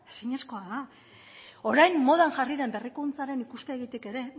ezinezkoa da orain modan jarri den berrikuntzaren ikuspegitik ere